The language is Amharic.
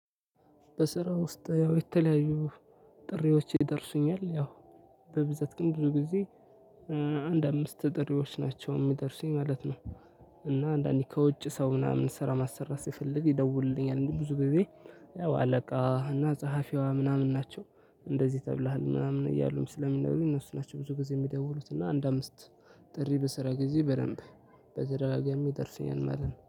በስራ ውስጥ ያው የተለያዩ ጥሪዎች ይደርሱኛል ያው በብዛት ግን ብዙ ጊዜ አንድ አምስት ጥሪዎች ናቸው የሚደርሱኝ ማለት ነው። እና አንዳንዴ ከውጭ ሰው ምናምን ስራ ማሰራት ሲፈልግ ይደውልልኛል ብዙ ጊዜ። ያው አለቃ እና ጸሐፊዋ ምናምን ናቸው እንደዚህ ተብለሃል ምናምን እያሉኝ ስለሚነግሩኝ እነሱ ናቸው ብዙ ጊዜ የሚደውሉት። እና አንድ አምስት ጥሪ በስራ ጊዜ በደንብ በተደጋጋሚ ይደርሰኛል ማለት ነው